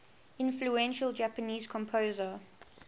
influential japanese composer